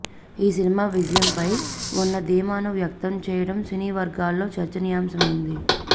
ఈ సినిమా విజయంపై ఉన్న ధీమాను వ్యక్తం చేయడం సినీ వర్గాల్లో చర్చనీయాంశమైంది